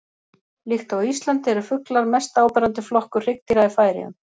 Líkt og á Íslandi eru fuglar mest áberandi flokkur hryggdýra í Færeyjum.